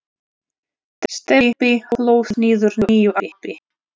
Stebbi hlóð niður nýju appi.